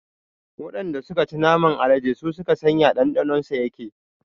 Waɗanda suka ci naman alade su suka san ya ɗanɗanon sa yake